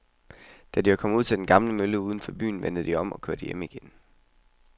Da de var kommet ud til den gamle mølle uden for byen, vendte de om og kørte hjem igen.